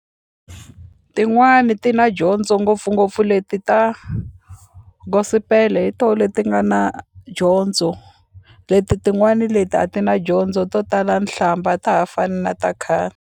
Tin'wani ti na dyondzo ngopfungopfu leti ta gospel hi to leti nga na dyondzo leti tin'wani leti a ti na dyondzo to tala nhlamba ta ha fani na ta khale.